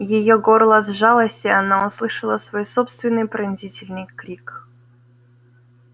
её горло сжалось и она услышала свой собственный пронзительный крик